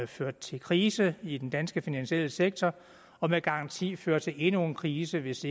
førte til krise i den danske finansielle sektor og med garanti fører til endnu en krise hvis